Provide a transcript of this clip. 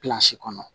kɔnɔ